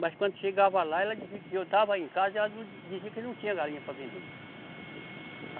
Mas quando chegava lá, ela dizia que eu estava aí em casa e ela não di, dizia que não, tinha galinha para vender.